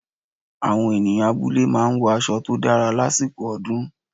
Àwọn ènìyàn abúlé máa ń wọ aṣọ tó dára lásìkò ọdún